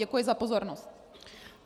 Děkuji za pozornost.